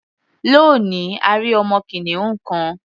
Lónìí, a rí ọmọ kìnìún kan.